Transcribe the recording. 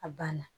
A banna